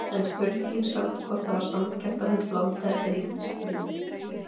En spurning samt hvort það var sanngjarnt að hún blandaði sér í þetta stríð?